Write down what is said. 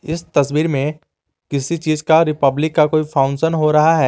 इस तस्वीर में किसी चीज का रिपब्लिक का कोई फंक्शन हो रहा है।